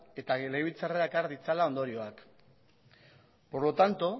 eta legebiltzarrera ekar ditzala ondorioak por lo tanto